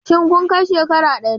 Shin kun kai shekara ɗari?